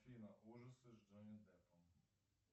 афина ужасы с джонни деппом